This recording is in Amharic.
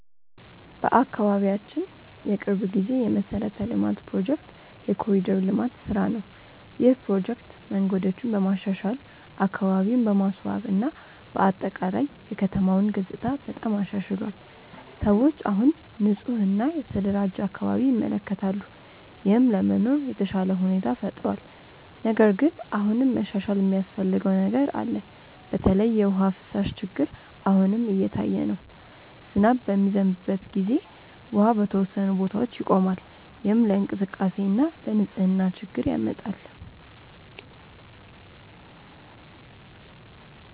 በአካባቢያችን የቅርብ ጊዜ የመሠረተ ልማት ፕሮጀክት የ“ኮሪደር ልማት” ስራ ነው። ይህ ፕሮጀክት መንገዶችን በማሻሻል፣ አካባቢን በማስዋብ እና በአጠቃላይ የከተማውን ገጽታ በጣም አሻሽሏል። ሰዎች አሁን ንፁህ እና የተደራጀ አካባቢ ይመለከታሉ፣ ይህም ለመኖር የተሻለ ሁኔታ ፈጥሯል። ነገር ግን አሁንም መሻሻል የሚያስፈልገው ነገር አለ። በተለይ የውሃ ፍሳሽ ችግር አሁንም እየታየ ነው። ዝናብ በሚዘንብበት ጊዜ ውሃ በተወሰኑ ቦታዎች ይቆማል፣ ይህም ለእንቅስቃሴ እና ለንፅህና ችግር ያመጣል።